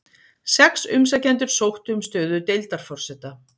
Sex umsækjendur sóttu um stöðu deildarforseta